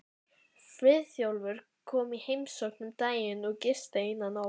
Friðþjófur kom í heimsókn um daginn og gisti eina nótt.